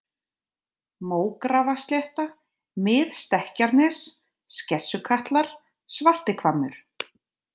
Mógrafaslétta, Mið-Stekkjarnes, Skessukatlar, Svartihvammur